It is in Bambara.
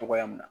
Togoya min na